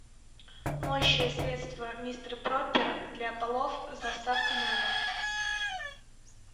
моющее средство мистер пропер для полов с доставкой на дом